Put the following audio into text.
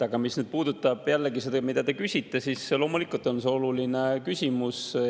Aga mis puudutab jällegi seda, mida te küsite, siis loomulikult on see oluline küsimus.